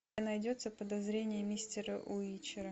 найдется подозрение мистера уичера